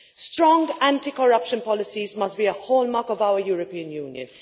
Strong anti corruption policies must be a hallmark of our European Union.